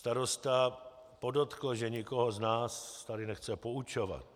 Starosta podotkl, že nikoho z nás tady nechce poučovat.